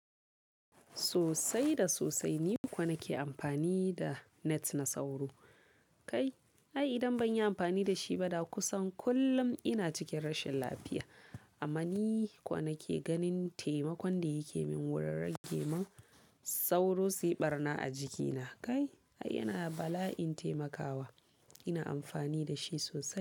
Sosai da sosai ni kuwa nake amfani da net na sauro. Kai, ai idan ban yi amfani da shi ba, da kusan kullum ina cikin rashin lafiya. Amma ni kuwa nake ganin taimakon da yake min wurin rage min sauro suyi ɓarna a jikina. Kai, ai yana bala'in taimakawa. Ina amfani da shi sosai.